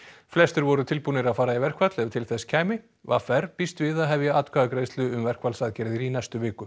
flestir voru tilbúnir að fara í verkfall ef til þess kæmi v r býst við að hefja atkvæðagreiðslu um verkfallsaðgerðir í næstu viku